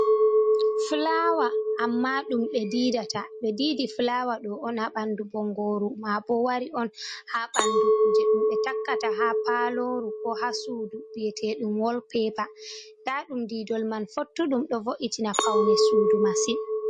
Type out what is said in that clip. Fulawa, amma ɗum ɓe diidata be diidi, fulawa ɗo on ha ɓandu bongoru ma boo wari on ha bandu kuje ɗum be takkata ha paloru ko ha suudu biyeteɗum wolpepa, nda ɗum diidol man fottudum ɗo vo’itina paune suudu masin.